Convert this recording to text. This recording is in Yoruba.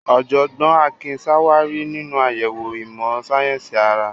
Ọ̀jọ̀gbọ́n Akin ṣàwárí nínú àyẹ̀wò ìmọ̀ sáyẹ́sì ara.